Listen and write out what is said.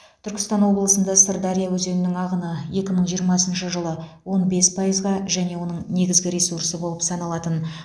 түркістан облысында сырдария өзенінің ағыны екі мың жиырмасыншы жылы он бес пайызға және оның негізгі ресурсы болып саналатын